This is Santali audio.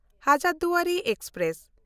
ᱦᱟᱡᱟᱨᱫᱩᱣᱟᱨᱤ ᱮᱠᱥᱯᱨᱮᱥ